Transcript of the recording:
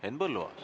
Henn Põlluaas.